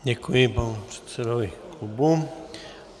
Děkuji, panu předsedovi klubu.